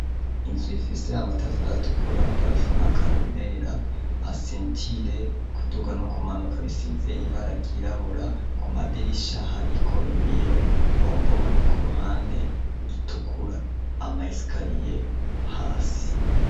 Insu ifise amatafar atukura palafona karulilela asentire kuduga no ku manuka bisize ibaragirabura ku madirishaho, ariko ibiyo bombone ku ruhande itukura amayesikariye hasi.